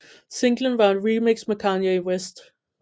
Singlen var et remix med Kanye West